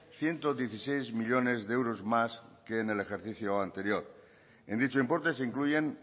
ciento dieciséis millónes de euros más que en el ejercicio anterior en dicho importe se incluyen